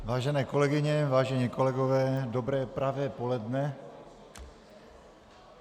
Vážené kolegyně, vážení kolegové, dobré pravé poledne.